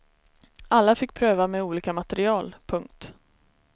Alla fick pröva med olika material. punkt